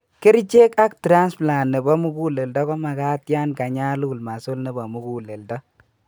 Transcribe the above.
Kerichek ak transplant nebo muguleldo komagat yan kanyalul muscle nebo muguleledo